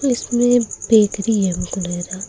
इसमें बेकरी है हमको लग रहा।